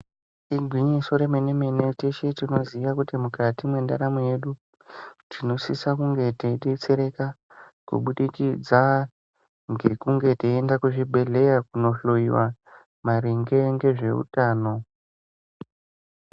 Igwinyiso remene mene teshe tinoziya kuti mukati mwendaramo yedu, tinosisa kunge teidetsereka kubudikidza ngekunge teienda kuzvibhedhleya kuno hloiwa maringe ngezveutano.